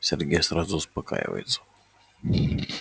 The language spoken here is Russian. сергей сразу успокаивается